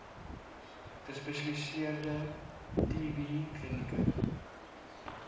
gespesialiseerde tb klinieke